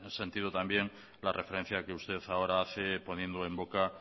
sentido también la referencia que usted ahora hace poniendo en boca